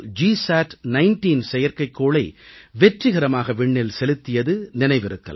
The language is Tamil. சாட்19 செயற்கைக்கோளை வெற்றிகரமாக விண்ணில் செலுத்தியது நினைவிருக்கலாம்